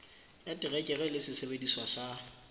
ya terekere le sesebediswa sa